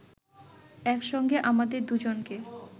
একসঙ্গে আমাদের দুজনকে